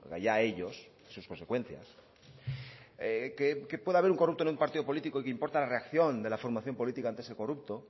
allá ellos y sus consecuencias que pueda haber un corrupto en un partido político y que importa la reacción de la formación política antes que el corrupto